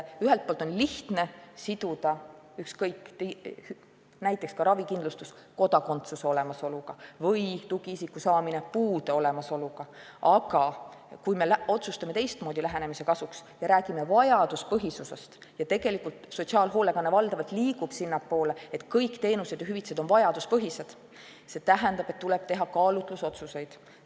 Ühelt poolt on lihtne siduda näiteks ravikindlustus kodakondsuse olemasoluga või tugiisiku saamine puude olemasoluga, aga kui me otsustame teistmoodi lähenemise kasuks ja räägime vajaduspõhisusest – tegelikult sotsiaalhoolekanne valdavalt sinnapoole liigubki, et kõik teenused ja hüvitised on vajaduspõhised –, siis see tähendab, et tuleb teha kaalutlusotsuseid.